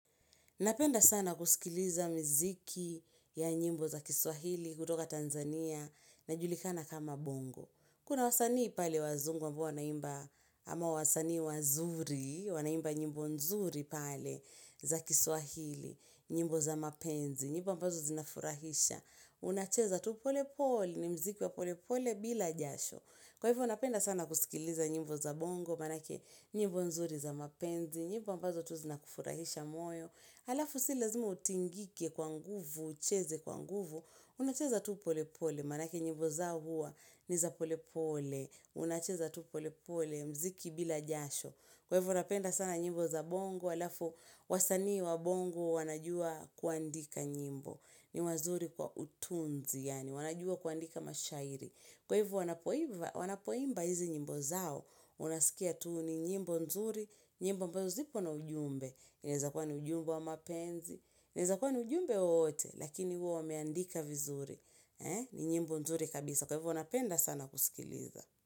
Napenda sana kuskiliza miziki ya nyimbo za kiswahili kutoka Tanzania ya julikana kama bongo. Kuna wasanii pale wazungu ambao wana imba ama wasanii wazuri, wana imba nyimbo nzuri pale za kiswahili, nyimbo za mapenzi, nyimbo ambazo zinafurahisha. Unacheza tu pole pole ni mziki wa pole pole bila jasho. Kwa hivyo napenda sana kusikiliza nyimbo za bongo manake nyimbo nzuri za mapenzi, nyimbo ambazo tu zina kufurahisha moyo. Halafu si lazimu utingike kwa nguvu, ucheze kwa nguvu, unacheza tu pole pole, manake nyimbo zao huwa niza pole pole, unacheza tu pole pole, mziki bila jasho, kwa hivyo napenda sana nyimbo za bongo, halafu wasanii wa bongo wanajua kuandika nyimbo, ni wazuri kwa utunzi, yani wanajua kuandika mashairi, kwa hivyo wanapoimba hizi nyimbo zao, unasikia tu ni nyimbo nzuri, nyimbo ambazo zipo na ujumbe, inaweza kuwa ni ujumbe wa mapenzi inaweza kuwa ni ujumbe wowote Lakini huwa wameandika vizuri ni nyimbo nzuri kabisa Kwa hivyo napenda sana kusikiliza.